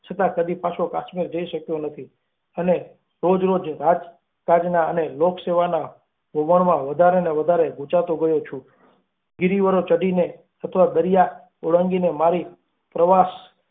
છતાં કરી પાશે સમીર જઈ શક્યો જ નથી. અને રોજ રોજ રાજકાજનાં અને લોકસેવાના વમળમાં વધારે ને વધારે ગંચાતો ગયો છે રિવરો ચડીને અપના દરિયા ઓળંગીને મારી પ્રવાસ.